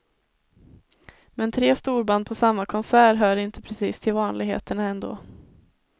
Men tre storband på samma konsert hör inte precis till vanligheterna ändå.